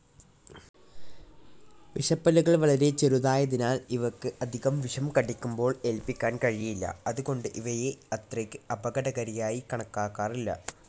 വിഷപല്ലുകൾ വളരെ ചെറുതായതിനാൽ ഇവക്ക് അധികം വിഷം കടിക്കുമ്പോൾ ഏല്പിക്കാൻ കഴിയില്ല അത് കൊണ്ട് ഇവയെ അത്രക്ക് അപകടകാരിയായി കണക്കാക്കാറില്ല.